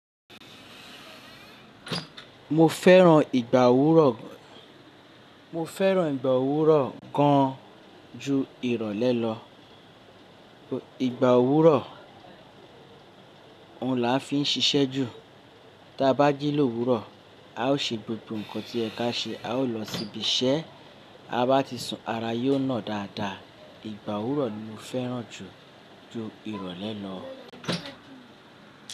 Mo fẹ́ràn ìgbà òwúrọ̀, mo fẹ́ràn ìgbà òwúrọ̀ gan an ju ìrọ̀lẹ́ lọ, ìgbà òwúrọ̀ Òun làa fi ń ṣiṣẹ́ jù, tí a bá jí lówúrọ̀ a o ṣe gbogbo nǹkan tí ẹ ká ṣe a o lọ síbi iṣẹ́, a bá ti sun ara yóò nà dáadáa. Ìgbà òwúrọ̀ ni mo fẹ́ràn jù ju ìrọ̀lẹ́ lọ.